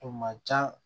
O ma ca